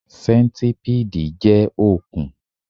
Sẹ́ńtipiidi jọ òkun